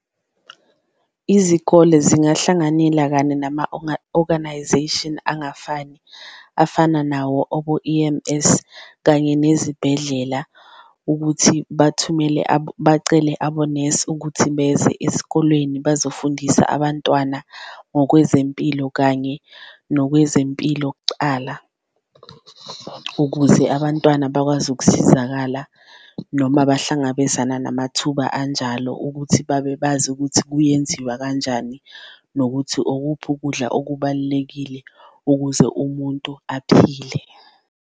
Izikole zingahlanganela kanye nama-organisation angafani afana nawo obo-E_M_S kanye nezibhedlela, ukuthi bathumele abacele abonesi ukuthi beze ezikoleni bazofundisa abantwana ngokwezempilo kanye nokwezempilo kucala. Ukuze abantwana bakwazi ukusizakala noma abahlangabezana namathuba anjalo ukuthi babebazi ukuthi kuyenziwa kanjani, nokuthi okuphi ukudla okubalulekile ukuze umuntu aphile.